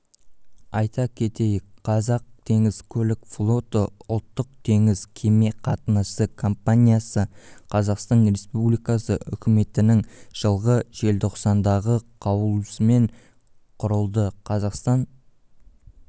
айта кетейіка қазақтеңізкөлікфлоты ұлттық теңіз кеме қатынасы компаниясы қазақстан республикасы үкіметінің жылғы желтоқсандағы қаулысымен құрылды қазақстан